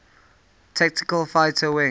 tactical fighter wing